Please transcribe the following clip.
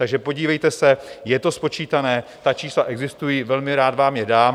Takže podívejte se, je to spočítané, ta čísla existují, velmi rád vám je dám.